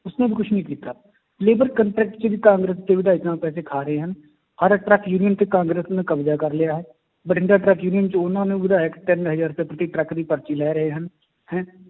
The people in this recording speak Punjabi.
ਉਸਨੇ ਵੀ ਕੁਛ ਨੀ ਕੀਤਾ labour contract 'ਚ ਵੀ ਕਾਂਗਰਸ ਦੇ ਵਿਧਾਇਕ ਪੈਸੇ ਖਾ ਰਹੇ ਹਨ, ਹਰ ਕਾਂਗਰਸ ਨੇ ਕਬਜ਼ਾ ਕਰ ਲਿਆ ਹੈ, ਬਠਿੰਡਾ ਟਰੱਕ union 'ਚ ਉਹਨਾਂ ਨੇ ਵਿਧਾਇਕ ਤਿੰਨ ਹਜ਼ਾਰ ਤੱਕ ਦੀ ਟਰੱਕ ਦੀ ਪਰਚੀ ਲੈ ਰਹੇ ਹਨ ਹੈਂ